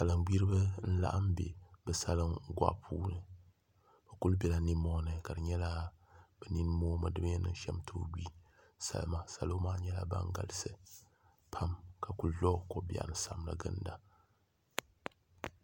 Salin gbiribi n laɣam bɛ bi salin boɣa puuni bi ku biɛla nimmohi ni ka di nyɛla bi nin moomi n bori bin yɛn niŋ shɛm tooi gbi salima salo maa nyɛla ban galisi pam ka ku bɛ kobiɛri ni samdi ginda